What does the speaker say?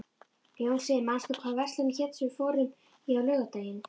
Jónsi, manstu hvað verslunin hét sem við fórum í á laugardaginn?